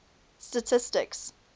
statistics